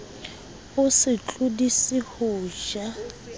o se tlodise ho ja